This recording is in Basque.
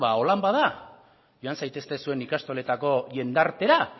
beno ba horrela bada joan zaitezte zuen ikastoletako jendartera